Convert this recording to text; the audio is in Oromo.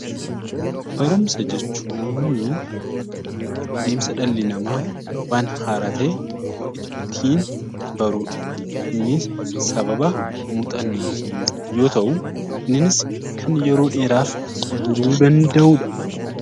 Barumsa jechuun adeemsa dhalli namaa waan haaraa ta'e ittiin baru dha. Innis sababa muuxannootiin yoo ta'u, innis kan yeroo dheeraaf turuu danda'u dha.